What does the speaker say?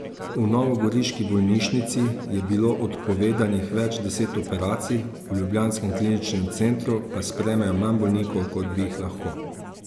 V novogoriški bolnišnici je bilo odpovedanih več deset operacij, v ljubljanskem kliničnem centru pa sprejmejo manj bolnikov, kot bi jih lahko.